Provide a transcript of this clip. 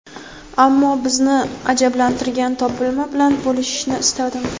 ammo bizni ajablantirgan topilma bilan bo‘lishishni istadim.